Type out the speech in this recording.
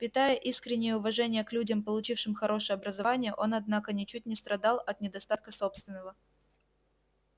питая искреннее уважение к людям получившим хорошее образование он однако ничуть не страдал от недостатка собственного